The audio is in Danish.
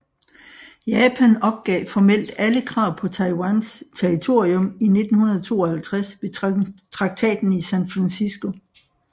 Japan opgav formelt alle krav på Taiwans territorium i 1952 ved Traktaten i San Francisco